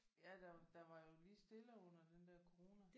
Ja der der var jo lige stille under den der corona